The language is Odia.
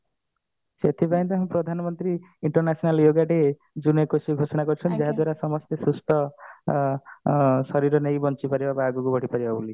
ସେଥିପାଇଁ ତ ପ୍ରଧାନ ମନ୍ତ୍ରୀ international yoga day ଜୁନ ଏକୋଇଶିଏ ରେ ଘୋଷଣା କରିଛନ୍ତି ଯାହା ଦ୍ଵାରା ସମସ୍ତେ ସୁସ୍ଥ ଅ ଅ ଶରୀର ନେଇ ବଞ୍ଚିପାରିବା ବା ଆଗକୁ ବଢିପାରିବା ବୋଲି